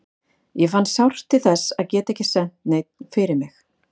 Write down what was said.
Ég fann sárt til þess að geta ekki sent neinn fyrir mig.